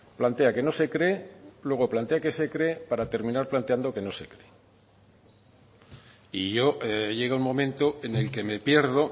plantea que no se cree luego plantea que se cree para terminar planteando que no se cree y yo llega un momento en el que me pierdo